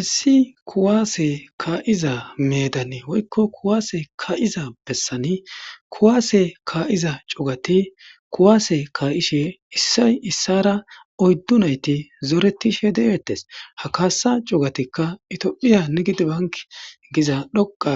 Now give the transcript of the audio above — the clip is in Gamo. Issi kuwaase kaa'iza medani woykko kuwaase kaa7iza bessani kuwaase kaa7iza cugati kuwaase kaa7ishe issay issara oyddu nayti zoretishe de7eettes ha kaasa cugatikka itiophiya nigidibank giza dhoqa